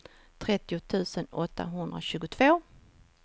trettio tusen åttahundratjugotvå